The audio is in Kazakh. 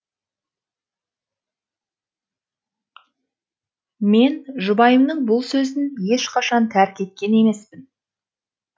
мен жұбайымның бұл сөзін ешқашан тәрік еткен емеспін